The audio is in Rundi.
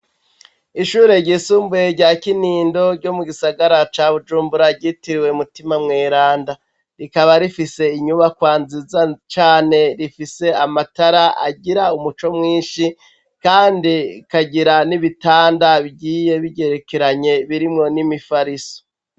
Ishure ryisumbuye, rya Kinindo ryo mu gisagara ca Bujumbura, ryitiriwe Mutima mweranda, rikaba rifise inyubakwa nziza cane, rifise amatara agira umuco mwinshi, kandi ikagira n'ibitanda bigiye bigerekeranye, birimwo n'imifariso.